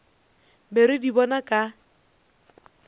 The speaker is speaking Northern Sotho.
be re di bona ka